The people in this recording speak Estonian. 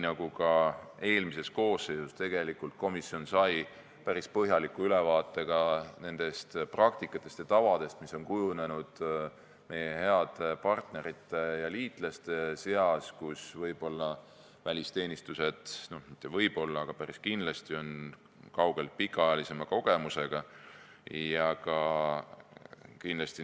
Ka eelmises koosseisus sai komisjon päris põhjaliku ülevaate nendest praktikatest ja tavadest, mis on kujunenud meie heade partnerite ja liitlaste seas, kus välisteenistused võib-olla, st mitte võib-olla, aga päris kindlasti on kaugelt pikemaajalise kogemusega.